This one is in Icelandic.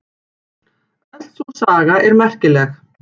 Öll sú saga er merkileg.